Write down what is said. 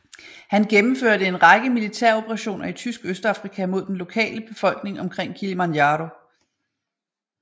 Han gennemførte en række militæroperationer i Tysk Østafrika mod den lokale befolkning omkring Kilimanjaro